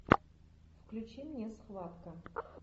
включи мне схватка